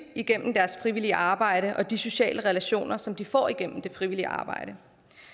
gennem deres frivillige arbejde og de sociale relationer som de får igennem det frivillige arbejde